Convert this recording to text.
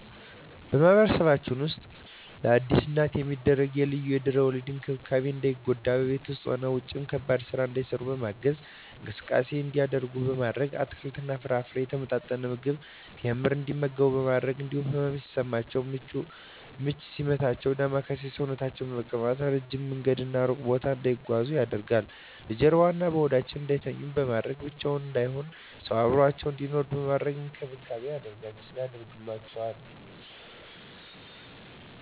በማህበረሰባችን ውስጥ ለአዲስ እናት የሚደረጉ ልዩ የድህረ ወሊድ እንክብካቤዎች እንዳይጎዱ በቤት ውስጥም ውጭም ከባድ ስራ እንዳይሰሩ በማገዝ፣ እንቅስቃሴ እንዲያደርጉ ማድረግ፣ አትክልትና ፍራፍሬ፣ የተመጣጠነ ምግብ፣ ቴምር እንዲመገቡ በማድረግ እንዲሁም ህመም ሲሰማቸው ምች ሲመታቸው ዳማከሴ ሰውነታቸውን በመቀባት፣ እረጅም መንገድና እሩቅ ቦታ እንዳይጓዙ ማድረግ፣ በጀርባዋ እና በሆዳቸው እንዳይተኙ በማድረግ፣ ብቻቸውን እንዳይሆኑ ሰው አብሮአቸው እንዲኖር በማድረግ እንክብካቤ ይደረግላቸዋል።